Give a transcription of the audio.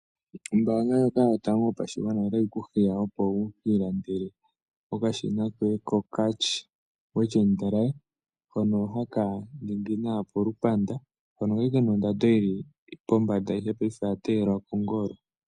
Ombaanga ndjoka yotango yopashigwana otayi kuhiya wukiilandele ookashina koye kokarcher wet& dry hono haka ningi nawa polupanda hono kali kena ondando yili pombanda paife oya teyelwa kongolo.